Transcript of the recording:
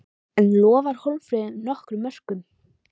En lofar Hólmfríður nokkrum mörkum?